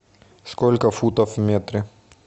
сколько футов в метре